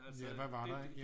Ja hvad var der ikke